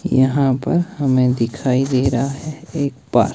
यहां पर हमें दिखाई दे रहा है एक पार्क ।